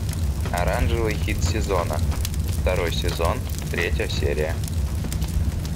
оранжевый хит сезона второй сезон третья серия